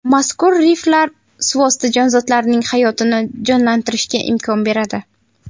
Mazkur riflar suvosti jonzotlarining hayotini jonlantirishga imkon beradi.